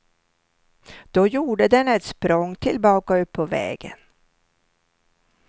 Då gjorde den ett språng tillbaka upp på vägen.